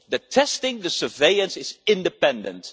The testing, the surveillance, is independent.